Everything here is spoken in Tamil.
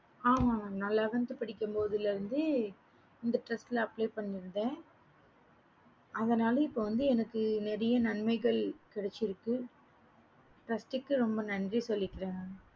ஆமா mam நான் elevanth இருந்து இந்த trast apply பண்ணிவிட்டேன் அதுனால இப்ப எனக்கு வந்து நெறைய நன்மைகள் கிடைச்சிருக்கு ரொம்ப நன்றி சொல்லிகறேன் mam